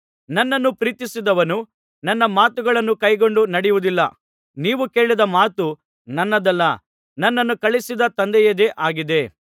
ನನ್ನನ್ನು ಪ್ರೀತಿಸದವನು ನನ್ನ ಮಾತುಗಳನ್ನು ಕೈಕೊಂಡು ನಡೆಯುವುದಿಲ್ಲ ನೀವು ಕೇಳಿದ ಮಾತು ನನ್ನದಲ್ಲ ನನ್ನನ್ನು ಕಳುಹಿಸಿದ ತಂದೆಯದೇ ಆಗಿದೆ